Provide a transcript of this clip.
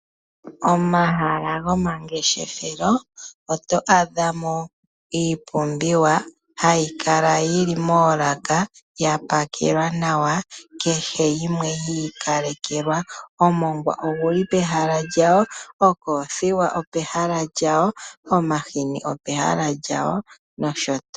Omahala gomangeshefelo oto adha mo iipumbiwa hayi kala yili moolaka ya pakelwa nawa, kehe yimwe yi ikalekelwa; omongwa oguli pehala lyago, okoothiwa opehala lyayo, omahini opehala lyago, nosho tuu.